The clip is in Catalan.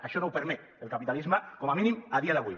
això no ho permet el capitalisme com a mínim a dia d’avui